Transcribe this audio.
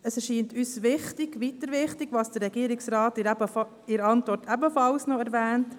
Es erscheint uns weiter wichtig, was der Regierungsrat in der Antwort ebenfalls erwähnt: